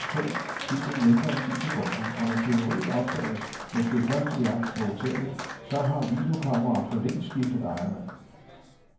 Hele operationen tog tyven mindre end ti sekunder, og når tyveriet opdages, måske først i aften på hotellet, så har videokameraet for længst skiftet ejermand.